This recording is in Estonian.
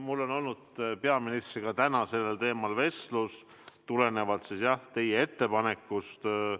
Mul on olnud peaministriga täna sellel teemal vestlus tulenevalt teie ettepanekust.